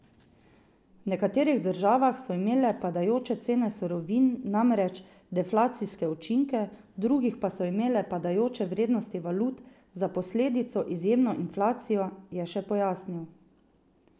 V nekaterih državah so imele padajoče cene surovin namreč deflacijske učinke, v drugih pa so imele padajoče vrednosti valut za posledico izjemno inflacijo, je še pojasnil.